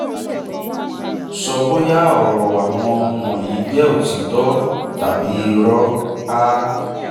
sọ bóyá àwọn ọ̀rọ̀ wọ̀nyí jẹ òtítọ́ tàbí irọ́: a